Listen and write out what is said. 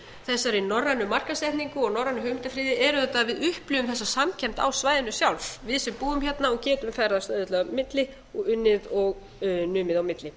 þessari norrænu markaðssetningu og norrænu hugmyndaxxx er auðvitað að við upplifum þessa samkennd á svæðinu sjálf við sem búum hérna og getum ferðast auðveldlega á milli og unnið og numið á milli